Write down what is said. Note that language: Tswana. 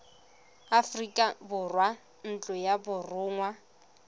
aforika borwa ntlo ya borongwa